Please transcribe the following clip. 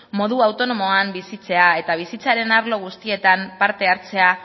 modu autonomoan bizitzea eta bizitzaren arlo guztietan parte hartzea